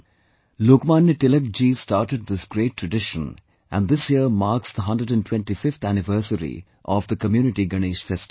Lokmanya Tilak ji started this great tradition, and this year marks the 125th anniversary of community Ganesh festival